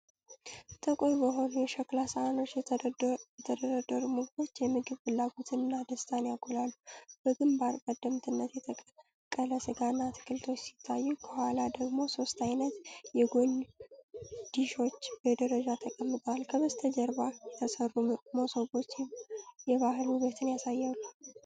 ጥቁር በሆኑ የሸክላ ሳህኖች የተደረደሩ ምግቦች የምግብ ፍላጎትንና ደስታን ያጎላሉ። በግንባር ቀደምትነት የተቀቀለ ስጋና አትክልቶች ሲታዩ፣ ከኋላ ደግሞ ሶስት ዓይነት የጎን ዲሾች በደረጃ ተቀምጠዋል፤ ከበስተጀርባ የተሰሩት መሶቦች የባህል ውበትን ያሳያሉ።